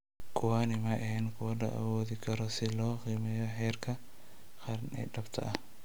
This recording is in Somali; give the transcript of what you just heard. Kuwani ma ahayn kuwo la awoodi karo si loo qiimeeyo heerka qaran ee dhabta ah.